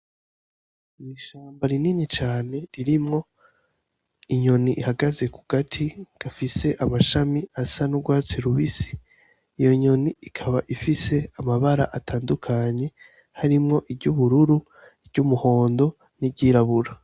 Ni ishamba rinini cane ririmwo inyoni ihagaze ku gati gafise amashami asa n'urwatsi rubisi iyo nyoni ikaba ifise amabara atandukanyi harimwo iryoubururu ry'umuhondo n'iryirabura.